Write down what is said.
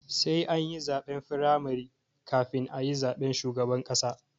Sai ani zaɓen firamare kafin ayi zaben shugaban ƙasa